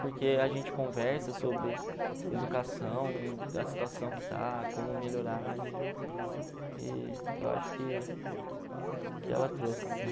Porque a gente conversa sobre educação, a situação que está, como melhorar e e du acho que que ela trouxe, sim.